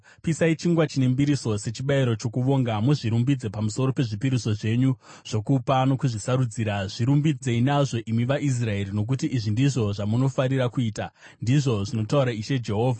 Pisai chingwa chine mbiriso sechibayiro chokuvonga muzvirumbidze pamusoro pezvipiriso zvenyu zvokupa nokuzvisarudzira, zvirumbidzei nazvo, imi vaIsraeri, nokuti izvi ndizvo zvamunofarira kuita,” ndizvo zvinotaura Ishe Jehovha.